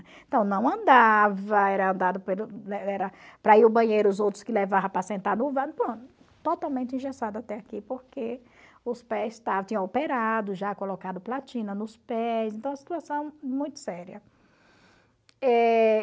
Então não andava, era era para ir ao banheiro os outros que levavam para sentar no tootalmente engessado até aqui, porque os pés tinham operado, já colocado platina nos pés, então a situação é muito séria. Eh...